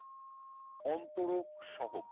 অন্তরক সহক